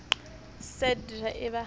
sa d ha e ba